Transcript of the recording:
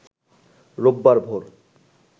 রোববার ভোর